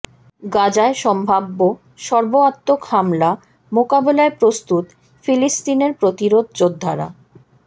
গাজায় সম্ভাব্য সর্বাত্মক হামলা মোকাবেলায় প্রস্তুত ফিলিস্তিনের প্রতিরোধ যোদ্ধারা